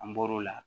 An bɔr'o la